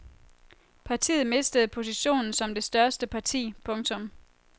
Partiet mistede positionen som det største parti. punktum